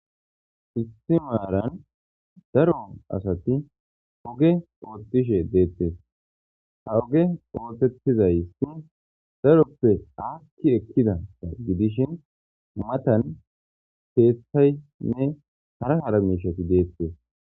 Issi maran daro asati oge otishe detes ha oge otetizaysi daroppe akki ekkida gidishin matan kethaynne hara hara mishati detes.